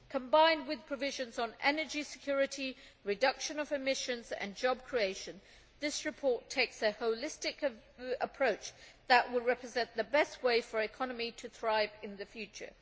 Combined with provisions on energy security, reduction of emissions and job creation, this report takes a holistic approach that will represent the best way for an economy to thrive in the future.